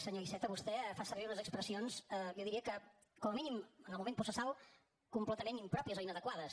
senyor iceta vostè fa servir unes expressions jo diria que com a mínim en el moment processal completament impròpies o inadequades